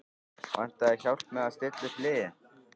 Vantar þig hjálp með að stilla upp liðið?